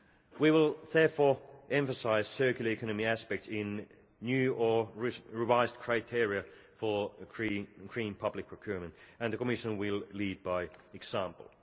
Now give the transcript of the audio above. We will therefore emphasise circular economy aspects in new or revised criteria for creating public procurement, and the Commission will lead by example.